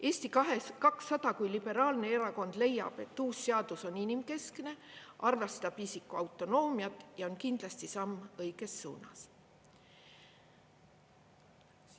Eesti 200 kui liberaalne erakond leiab, et uus seadus on inimkeskne, arvestab isiku autonoomiat ja on kindlasti samm õiges suunas.